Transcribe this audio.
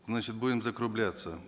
значит будем закругляться